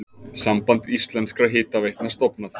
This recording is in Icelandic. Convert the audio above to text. Samband íslenskra hitaveitna stofnað.